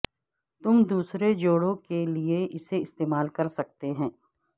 تم دوسرے جوڑوں کے لیے اسے استعمال کر سکتے ہیں